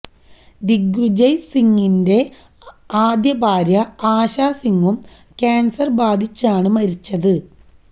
ദിഗ്വിജയ് സിംഗിന്റെ ആദ്യഭാര്യ ആശ സിംഗും കാന്സര് ബാധിച്ചാണ് മരിച്ചത്